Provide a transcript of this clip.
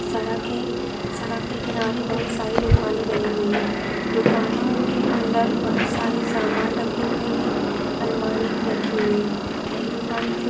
सड़क है सड़क के किनारे बहुत सारे दुकाने बनी हुई है दुकानों के अंदर बहुत सारे सामान रखे हुए है। अलमारी भी रखी हुई है यह दुक--